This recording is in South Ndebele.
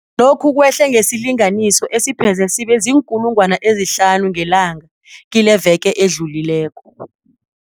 Lokhu kwehle ngesilinganiso esipheze sibe ziinkulungwana ezihlanu ngelanga kileveke edlulileko.